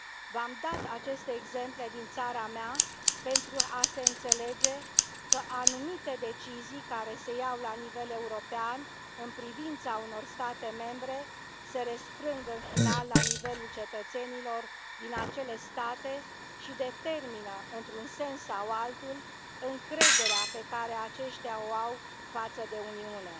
V am dat aceste exemple din țara mea pentru a se înțelege că anumite decizii care se iau la nivel european în privința unor state membre se răsfrâng în final la nivelul cetățenilor din acele state și determină, într un sens sau altul, încrederea pe care aceștia o au față de Uniune.